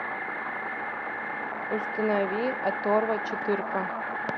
установи оторва четырка